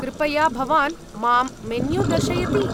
कृपया भवान् मां मेन्यू दर्शयति?